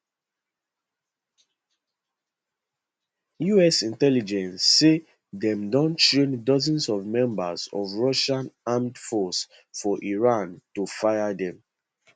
us intelligence say dem don train dozens of members of russia armed forces for iran to fire dem